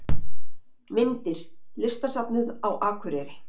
Myndir: Listasafnið á Akureyri